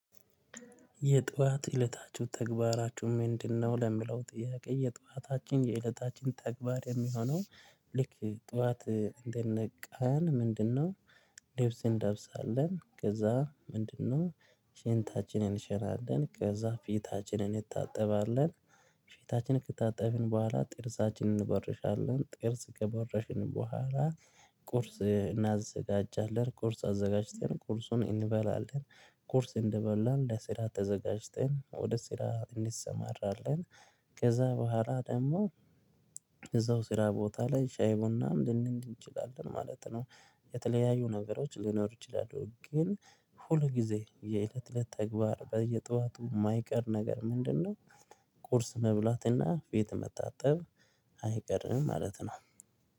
የጧት እለታችሁ ተግባራችሁ ምንድነው? ለሚለው ጥያቄ የጧታችን የእለታችን ተግባር የሚሆነው ልክ ጠዋት እንደነቃን ምንድነው? ልብስ እንለብሳለን ከዛ ምንድነው? ሽንታችንን እንሸናለን ከዛ ፊታችንን እንታጠባለን ፊታችን ከታጠብን በኋላ ጥርሳችንን እንቦርሻለን ጥርስ ከቦረሽን በኋላ ቁርስ እናዘጋጃለን ቁርስ አዘጋጅተን ቁርሱን እንበላለን። ቁርስ እንደበላን ለስራ ተዘጋጅተን ወደ ስራ እንሰማራለን። ከዛ በኋላ ደግሞ እዛው ስራ ቦታ ላይ ሻይ ቡናም ልንል እንችላለን ማለት ነው። የተለያዩ ነገሮች ሊኖሩ ይችላሉ ግን ሁሉ ጊዜ የእለት እለት ተግባር በየጧቱ የማይቀር ነገር ምንድነው? ቁርስ መብላትና ፊት መታጠብ አይቀርም ማለት ነው።